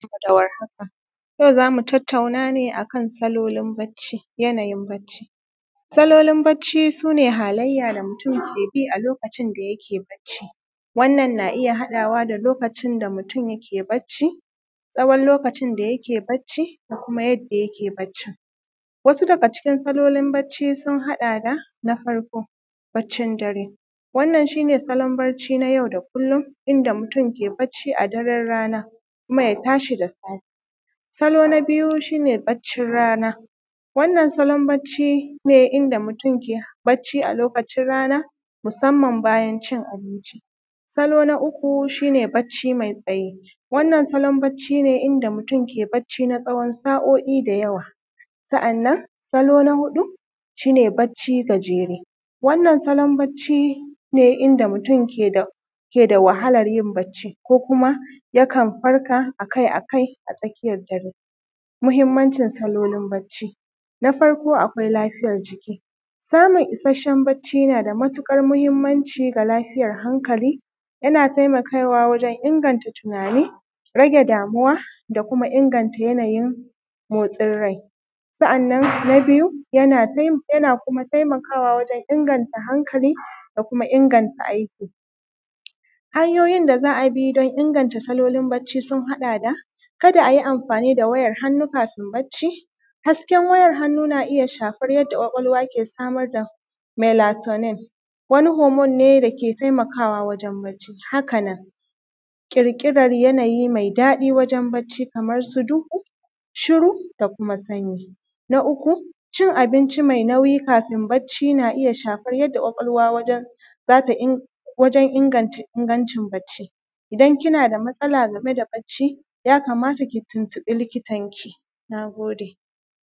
Barka da war haka, yau zamu tattauna ne akan salolin barci, yana yin barci Salolin barci shi ne halayen da mutum ke bi a lokacin da yake barci, wannan na iya haɗawa da lokacin da mutum yake barci, tsawon lokacin da yake barci da kuma yadda yake barci. Wasu daga cikin salolin barci sun haɗa da: Na farko, barcin dare, wannan shi ne salon barci na yau da kullum inda mutum ke barci a daran rana kuma ya tashi da safe. Salo na biyu shi ne barcin rana, wannan salon barci ne inda mutum ke barci a lokacin rana, musamman bayan cin abinci. Salo na uku, shi ne barci mai tsayi, wannan salon barci ne inda mutum ke barci na tsawon sa’o’i da yawa. Sa’anan salo na huɗu, shi ne barci gajeru, wannan salon barci ne inda mutum ke da wahalar yin barci, ko kuma yakan farka akai-akai a tsakiyar dare. Mahimmanci salolin barci: Na farko akwai lafiyar jiki, samun isashen barci nada matuƙar mahimmanci ga lafiyar hankali, yana taimakawa wurin inganta tunani, rage damuwa, da kuma inganta yana yin motsin rai. Sa’annan na biyu yana kuma taimakawa wajen inganta hankali da kuma inganta aiki. Hanyoyin za a inganta salolin barci sun haɗa da: kada ayi amfani da wayar hannu kafin barci, hasken wayar hannu na iya shafan yadda kwakwalwa ke samar da melatonen, wani homon ne dake taimakawa wajen barci. Haka nan, ƙirƙira yana yi mai daɗi wajen barci kaman su, duhu, shiru, da kuma sanyi. Na uku, cin abinci mai nauyi kafin barci, na iya shafar yadda ƙwaƙwalwa ke wajen inganta ingancin barci. Idan kina da matsalar game da barci ya kamata ku tuntuɓi likitanki. Na gode.